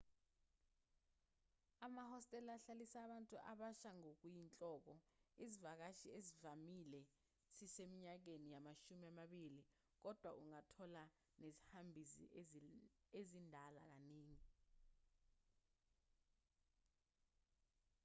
amahostela ahlalisa abantu abasha ngokuyinhloko isivakashi esivamile siseminyakeni yamashumi amabili kodwa ungathola nezihambi ezindala kaningi